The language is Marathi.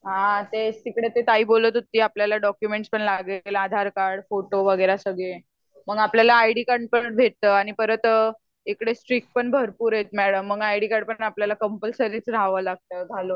हा तेच तिकडे ती ताई बोलत होती आपल्याला डोकुमेंट्स पण लागणार आधार कार्ड, फोटो, वगैरे सगळ मग आपल्याला आयडी कार्ड पण भेटत आणि परत इकडे स्ट्रिक्ट पण भरपूर आहेत मॅडम मग आयडी कार्ड पण आपल्याला कम्पलसरीच रहावा लागता घालाव लागत